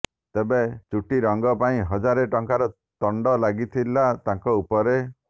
ତେବେ ଚୁଟି ରଙ୍ଗ ପାଇଁ ହଜାରେ ଟଙ୍କାର ତଣ୍ଡ ଲାଗିଥିଲା ତାଙ୍କ ଉପରେ